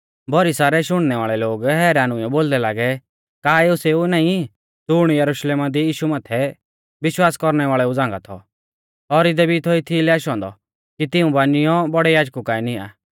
भौरी सारै शुणनै वाल़ै लोग हैरान हुइयौ बोलदै लागै का एऊ सेऊ नाईं ज़ुण यरुशलेमा दी यीशु माथै विश्वास कौरणै वाल़ेऊ झ़ांगा थौ और इदै भी थौ एथीलै आशौ औन्दौ कि तिऊं बानिऔ बौड़ै याजकु काऐ निआं